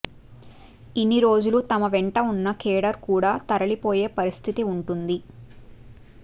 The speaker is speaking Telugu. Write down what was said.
ఇన్ని రోజులు తమ వెంట ఉన్న కేడర్ కూడా తరలిపోయే పరిస్థితి ఉంటుంది